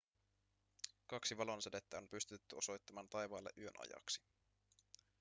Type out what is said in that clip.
kaksi valonsädettä on pystytetty osoittamaan taivaalle yön ajaksi